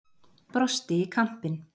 Brosti í kampinn.